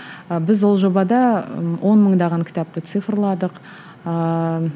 ы біз ол жобада ы он мыңдаған кітапты цифрладық ыыы